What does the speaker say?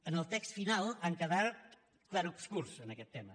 en el text final han quedat clarobscurs en aquest tema